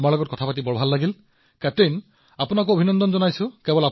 বহুত ভাল লাগিল আৰু কেপ্টেইন আপোনাকো অভিনন্দন জনাইছো